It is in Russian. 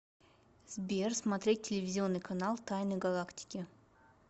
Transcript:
сбер смотреть телевизионный канал тайны галактики